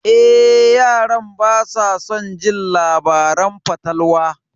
Eh, yaran basa son jin labaran fatalwa.